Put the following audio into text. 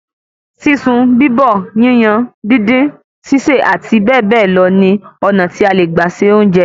Sísun, bíbọ̀, yíyan, díndín, sísè, àti bẹ́ẹ̀ bẹ́ẹ̀ lọ ni ọ̀nà tí a le gbà se óúńjẹ